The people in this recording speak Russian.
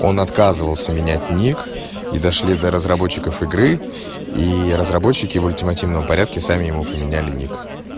он отказывался менять ник и дошли до разработчиков игры и разработчики в ультимативном порядке сами ему поменяли ник